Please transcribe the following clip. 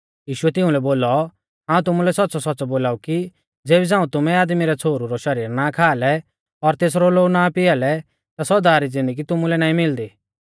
यीशुऐ तिउंलै बोलौ हाऊं तुमुलै सौच़्च़ौसौच़्च़ौ बोलाऊ कि ज़ेबी झ़ांऊ तुमै आदमी रै छ़ोहरु रौ शरीर नाईं खा लै और तेसरौ लोऊ नाईं पिआ लै ता सौदा री ज़िन्दगी तुमुलै नाईं मिलदी